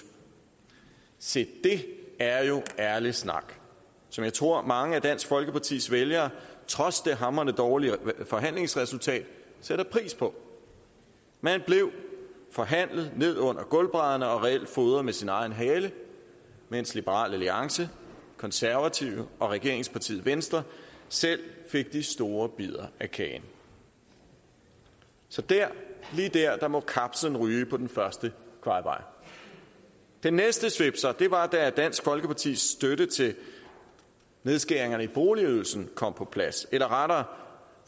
se det er jo ærlig snak som jeg tror at mange af dansk folkepartis vælgere trods det hamrende dårlige forhandlingsresultat sætter pris på man blev forhandlet ned under gulvbrædderne og reelt fodret med sin egen hale mens liberal alliance konservative og regeringspartiet venstre selv fik de store bidder af kagen så dér lige dér må kapslen ryge på den første kvajebajer den næste svipser var da dansk folkepartis støtte til nedskæringerne i boligydelsen kom på plads eller rettere